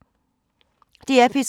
DR P3